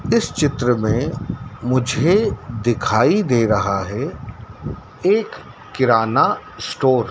इस चित्र में मुझे दिखाई दे रहा है एक किराना स्टोर --